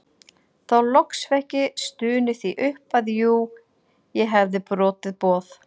Þá loks fékk ég stunið því upp að jú ég hefði brotið boð